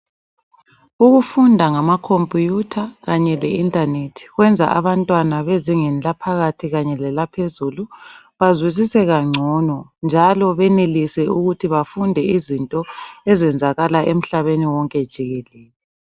Ukufunda ngamakhompiyutha kanye leinternet kwenza abantwana bezingeni laphakathi kanye lelaphezulu bazwisise kungcono njalo benelise ukuthi bafunde izinto ezenzakala emhlabeni wonke jikelele.